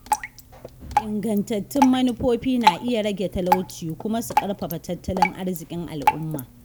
Ingantattun manufofi na iya rage talauci kuma su ƙarfafa tattalin arziƙin al’umma.